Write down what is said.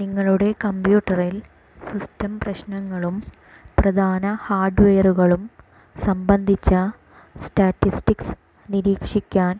നിങ്ങളുടെ കമ്പ്യൂട്ടറിൽ സിസ്റ്റം പ്രശ്നങ്ങളും പ്രധാന ഹാർഡ്വെയറുകളും സംബന്ധിച്ച സ്റ്റാറ്റിസ്റ്റിക്സ് നിരീക്ഷിക്കാൻ